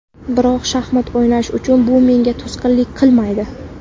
Biroq shaxmat o‘ynash uchun bu menga to‘sqinlik qilmaydi.